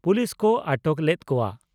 Police ᱠᱚ ᱟᱴᱚᱠ ᱞᱮᱫ ᱠᱚᱣᱟ ᱾